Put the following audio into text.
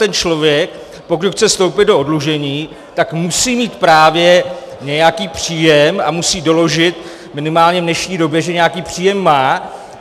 Ten člověk, pokud chce vstoupit do oddlužení, tak musí mít právě nějaký příjem a musí doložit, minimálně v dnešní době, že nějaký příjem má.